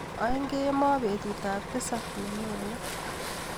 Aeng kemboi betutap tisap nenyone.